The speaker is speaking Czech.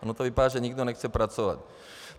Ono to vypadá, že nikdo nechce pracovat.